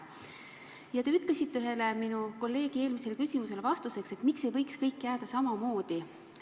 Ja te ütlesite ühele meie kolleegi küsimusele vastates, miks ei võiks kõik jääda samamoodi.